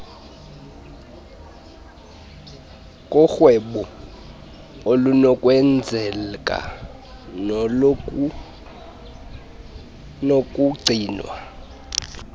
korhwebo olunokwenzeka nolunokugcinwa